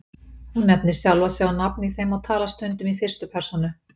Hún nefnir sjálfa sig á nafn í þeim og talar stundum í fyrstu persónu.